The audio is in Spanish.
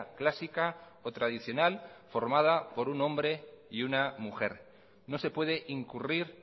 clásica o tradicional formada por un hombre y una mujer no se puede incurrir